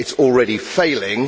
It is already failing.